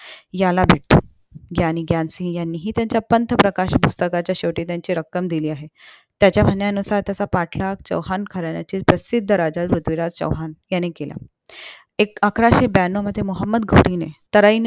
याला भेटो ग्यानी ग्यानसिग यांनीही यांचा पंच प्रकाशक पुस्तकाच्या शेवटी ज्यांची रक्कम दिली आहे त्याच्या म्हण्या नुसार त्याचा पाठला चौहान घराण्यातील प्रसिद्ध राजा पृथ्वीराज चौहान याने केला ऐक अकराशें ब्यानो मध्ये मोहोमद घोरी ने तालै